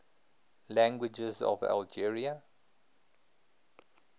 languages of algeria